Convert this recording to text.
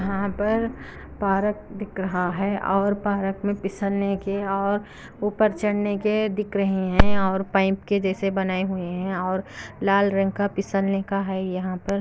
कहां पर पार्क दिख रहा है और पार्क में पीसने के और ऊपर चढ़ने के दिख रहे हैं और पाइप के जैसे बनाए हुए हैं और लाल रंग का पिसलने का है यहां पर--